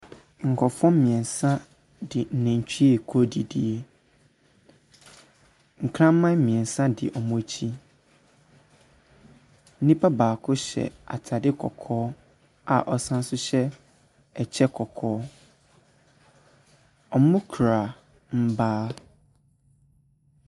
Nkrɔfoɔ mmiɛnsa de nantwie rekaɔ adidie. Nkraman mmiɛsnsa di wɔn akyi. Nnipa baako hyɛ ataade kɔkɔɔ a ɔsan so hyɛ ɛkyɛ kɔkɔɔ. Wɔkura mmaa.